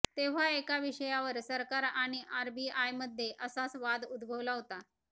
तेव्हा एका विषयावर सरकार आणि आरबीआयमध्ये असाच वाद उद्भवला होता